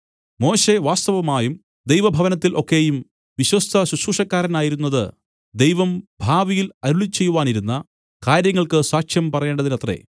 മോശെ വാസ്തവമായും ദൈവഭവനത്തിൽ ഒക്കെയും വിശ്വസ്ത ശുശ്രൂഷക്കാരനായിരുന്നത് ദൈവം ഭാവിയിൽ അരുളിച്ചെയ്യുവാനിരുന്ന കാര്യങ്ങൾക്ക് സാക്ഷ്യം പറയേണ്ടതിനത്രേ